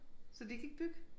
Så de kan ikke bygge